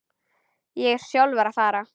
Ég er sjálfur að fara.